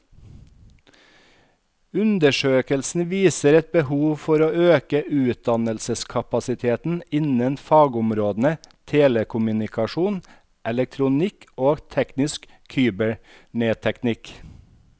Undersøkelsen viser et behov for å øke utdanningskapasiteten innen fagområdene telekommunikasjon, elektronikk og teknisk kybernetikk.